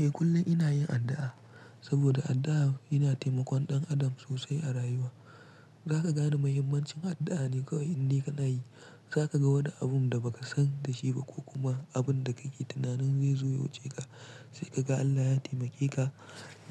Eh kullum ina yin addu'a saboda addu'a yana taimakon ɗan adam sosai a rayuwa. Zaka gane mahimmancin addu'a ne kawai in dai kana yi. Zaka ga wani abun da ba ka san da shi ba ko kuma abun da kake tunanin zai zo ya wuce ka, sai ka ga Allah ya taimake ka,